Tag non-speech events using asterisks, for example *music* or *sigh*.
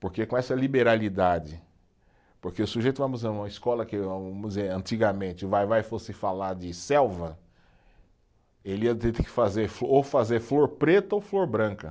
Porque com essa liberalidade, porque o sujeito, vamos, *unintelligible* uma escola que, vamos dizer, antigamente o Vai-Vai fosse falar de selva, ele ia ter que fazer ou fazer flor preta ou flor branca.